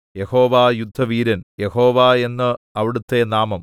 യഹോവ യുദ്ധവീരൻ യഹോവ എന്ന് അവിടുത്തെ നാമം